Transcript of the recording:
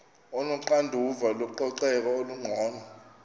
onoxanduva lococeko olungcono